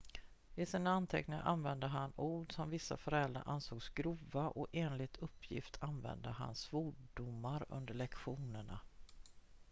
i sina anteckningar använde han ord som vissa föräldrar ansåg grova och enligt uppgift använde han svordomar under lektionerna